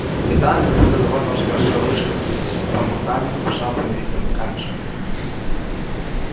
и тогда как будто довольно уже большой ручей с бормотаньем побежал по невидимым камешкам